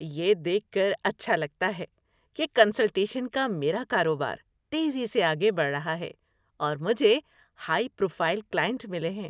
یہ دیکھ کر اچھا لگتا ہے کہ کنسلٹیشن کا میرا کاروبار تیزی سے آگے بڑھا ہے اور مجھے ہائی پروفائل کلائنٹ ملے ہیں۔